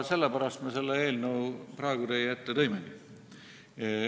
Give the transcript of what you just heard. Sellepärast me selle eelnõu just praegu teie ette tõimegi.